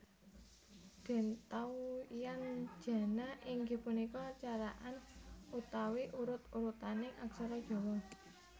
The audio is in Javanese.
Dentawyanjana inggih punika carakan utawi urut urutaning aksara Jawa